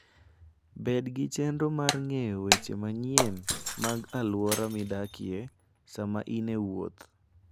Bed gi chenro mar ng'eyo weche manyien mag alwora midakie sama in e wuoth.